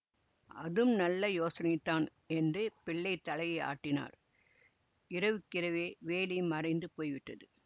அதும் நல்ல யோசனைதான் என்று பிள்ளை தலையை ஆட்டினார் இரவுக்கிரவே வேலி மறைந்து போய்விட்டது